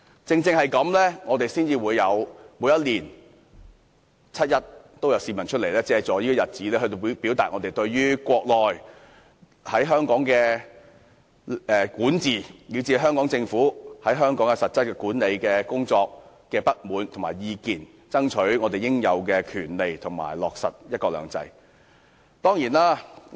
正因如此，每年七一均有市民上街，借助這個日子來表達他們對中國在香港的管治，以至對香港政府在香港的實質管理工作的不滿和意見，爭取他們應有的權利及落實"一國兩制"。